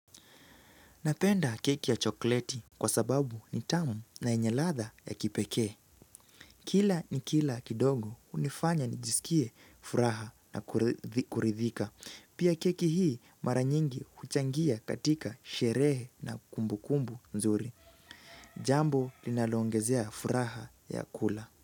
Napenda keki ya chokleti kwa sababu ni tamu na yenye ladha ya kipekee. Kila nikila kidogo hunifanya nijisikie furaha na kuridhika. Pia keki hii mara nyingi huchangia katika sherehe na kumbu kumbu nzuri. Jambo linaloongezea furaha ya kula.